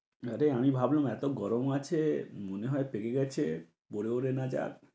নারে আমি ভাবলুম এত গরম আছে, মনে হয় পেকে গেছে। গড়ে গড়ে না যাক